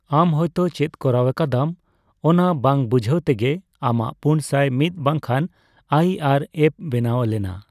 ᱟᱢ ᱦᱳᱭ ᱛᱚ ᱪᱮᱫ ᱠᱚᱨᱟᱣ ᱟᱠᱟᱫᱟᱢ ᱚᱱᱟ ᱵᱟᱝ ᱵᱩᱡᱷᱟᱹᱣ ᱛᱮᱜᱮ ᱟᱢᱟᱜ ᱯᱩᱱᱥᱟᱭ ᱢᱤᱛ ᱵᱟᱝᱠᱷᱟᱱ ᱟᱭᱹᱟᱨ ᱮᱷᱹ ᱵᱮᱱᱟᱣ ᱞᱮᱱᱟ᱾